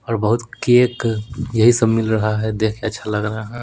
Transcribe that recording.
और बहुत केक यही सब मिल रहा है देख के अच्छा लग रहा है।